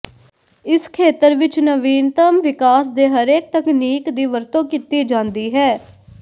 ਇਸ ਖੇਤਰ ਵਿੱਚ ਨਵੀਨਤਮ ਵਿਕਾਸ ਦੇ ਹਰੇਕ ਤਕਨੀਕ ਦੀ ਵਰਤੋਂ ਕੀਤੀ ਜਾਂਦੀ ਹੈ